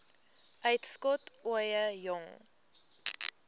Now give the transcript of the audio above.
uitskot ooie jong